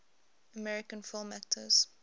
american film actors